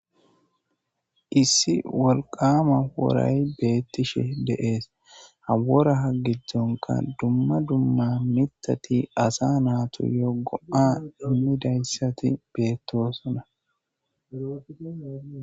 Issi wolqama woray beettishe de'es. Ha wora giddonkka dumma dumma miththati asa naatuyo qofa immidaysati beettosona.